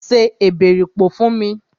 Se èbèripò fún mi!